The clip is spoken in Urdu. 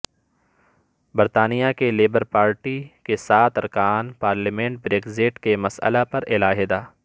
برطانیہ کی لیبر پارٹی کے سات ارکان پارلیمنٹ بریکزٹ کے مسئلہ پر علحدہ